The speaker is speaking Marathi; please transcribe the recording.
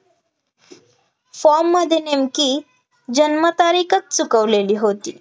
form मध्ये नेमकी जन्मतारीखच चुकवलेली होती,